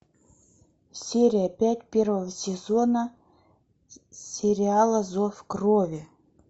серия пять первого сезона сериала зов крови